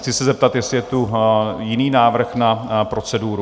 Chci se zeptat, jestli je tu jiný návrh na proceduru?